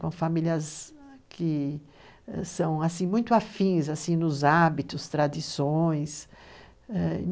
com famílias que são muito afins nos hábitos, tradições, ãh,